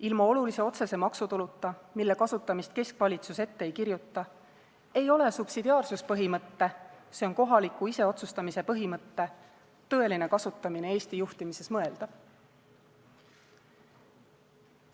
Ilma olulise otsese maksutuluta, mille kasutamist keskvalitsus ette ei kirjuta, ei ole subsidiaarsuspõhimõtte – s.o kohaliku iseotsustamise põhimõtte – tõeline kasutamine Eesti juhtimises mõeldav.